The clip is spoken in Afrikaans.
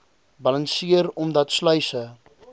balanseer omdat sluise